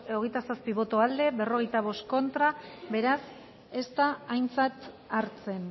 hogeita zazpi boto aldekoa cuarenta y cinco contra beraz ez da aintzat hartzen